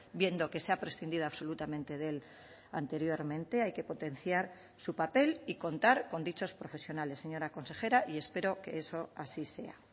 viendo que se ha prescindido absolutamente de él anteriormente hay que potenciar su papel y contar con dichos profesionales señora consejera y espero que eso así sea